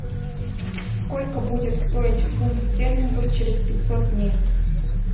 сколько будет стоить фунт стерлингов через пятьсот дней